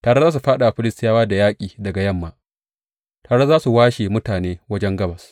Tare za su fāɗa wa Filistiyawa da yaƙi daga yamma; tare za su washe mutane wajen gabas.